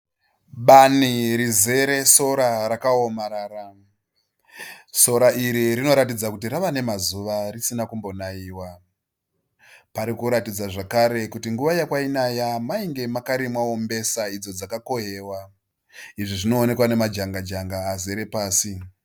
Bani rizere sora rakaomarara. Sora iri rinoratidza kuti rava nemazuva risina kumbo naiwa. Pari kuratidza zvakare kuti nguva yakwainaya mainge makarimwawo mbesa idzo dzaka kohwewa. Izvi zvinoonekwa nemajanga janga azere pasi.